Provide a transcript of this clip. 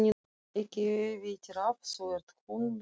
Ekki veitir af, þú ert hundblautur.